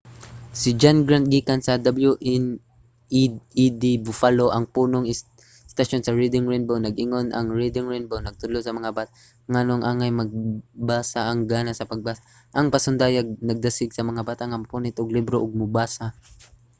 si john grant gikan sa wned buffalo ang punong istasyon sa reading rainbow nag-ingon ang reading rainbow nagtudlo sa mga bata nganong angay magbasa,... ang gana sa pagbasa — [ang pasundayag] nagdasig sa mga bata nga mopunit og libro ug mobasa.